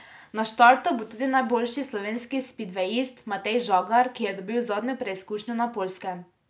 Na štartu bo tudi najboljši slovenski spidvejist Matej Žagar, ki je dobil zadnjo preizkušnjo na Poljskem.